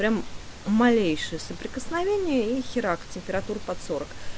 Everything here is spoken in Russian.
прям малейшее прикосновение и херак температура под сорок